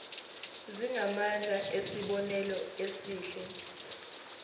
zingamandla esibonelo esihle